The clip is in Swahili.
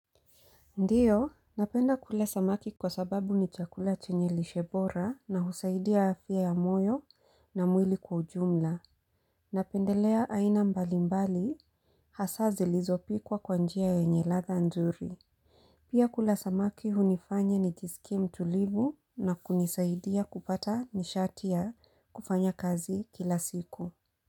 Ndiyo, napenda kula samaki kwa sababu ni chakula chenye lishe bora na husaidia afya ya moyo na mwili kwa ujumla. Napendelea aina mbalimbali, hasa zilizopikwa kwa njia yenye ladha nzuri. Pia kula samaki hunifanya nijisikie mtulivu na kunisaidia kupata nishatia ya kufanya kazi kila siku.